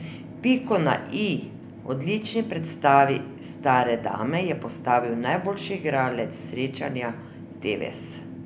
Piko na i odlični predstavi stare dame je postavil najboljši igralec srečanja Tevez.